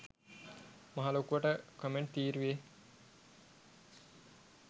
මහ ලොකුවට කොමෙන්ට් තීරුවේ